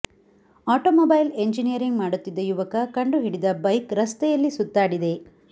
auto mobile engineering ಮಾಡುತ್ತಿದ್ದ ಯುವಕ ಕಂಡುಹಿಡಿದ ಬೈಕ್ ರಸ್ತೆಯಲ್ಲಿ ಸುತ್ತಾಡಿದೆ